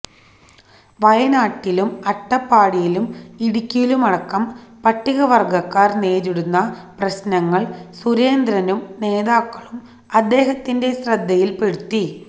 വയനാട്ടിലും അട്ടപ്പാടിയിലും ഇടുക്കിയിലുമടക്കം പട്ടികവര്ഗ്ഗക്കാര് നേരിടുന്ന പ്രശ്നങ്ങള് സുരേന്ദ്രനും നേതാക്കളും അദ്ദേഹത്തിന്റെ ശ്രദ്ധയില്പ്പെടുത്തി